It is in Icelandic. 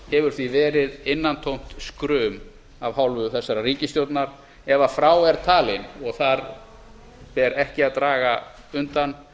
hefur því verið innantómt skrum af hálfu þessarar ríkisstjórnar ef frá eru talin og þar ber ekki að draga undan